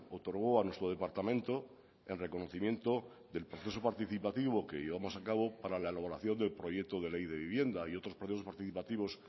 otorgó a nuestro departamento en reconocimiento del proceso participativo que llevamos a cabo para la elaboración del proyecto de ley de vivienda y otros procesos participativos